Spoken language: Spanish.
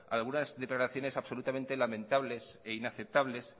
algunas declaraciones absolutamente lamentables e inaceptables